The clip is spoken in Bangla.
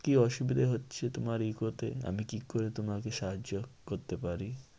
কি অসুবিধা হচ্ছে তোমার eco তে? আমি কি করে তোমাকে সাহায্য করতে পারি?